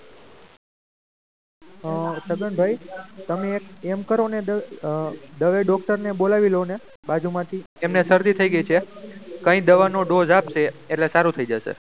છગનભાઈ તમે એમ કરો ને દવે doctor ને બોલાવી લો ને બાજુમાંથી એમને શરદી થઈ ગઈ છે કંઈ દવાનો dose આપશે એટલે સારું થઈ જશે.